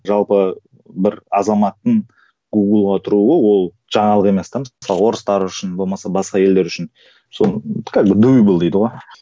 жалпы бір азаматтың гугл ға тұруы ол жаңалық емес те мысалға орыстар үшін болмаса басқа елдер үшін сол как бы дейді ғой